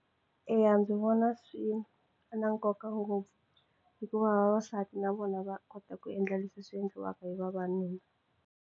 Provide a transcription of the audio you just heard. Eya ndzi vona swi na nkoka ngopfu hikuva vavasati na vona va kota ku endla leswi swi endliwaka hi vavanuna.